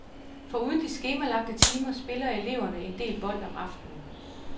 Foruden de skemalagte timer spiller elverne en del bold om aftenen.